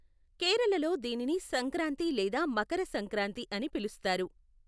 కేరళలో దీనిని సంక్రాంతి లేదా మకర సంక్రాంతి అని పిలుస్తారు.